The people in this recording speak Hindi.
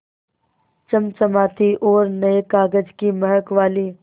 चमचमाती और नये कागज़ की महक वाली